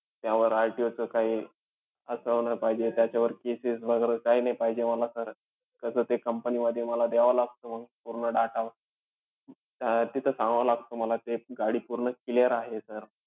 त्यावर RTO चं काही असावं नाही पाहिजे. त्याच्यावर cases वैगेरे काही नाही पाहिजे म ला sir. कसं ते company मध्ये मला द्यावं लागतं पूर्ण data. अं तिथं सांगावं लागतं मला की, गाडी पूर्ण clear आहे sir.